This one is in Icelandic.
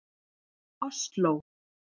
Osló